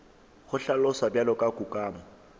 go hlaloswa bjalo ka kukamo